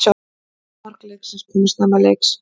Eina mark leiksins koma snemma leiks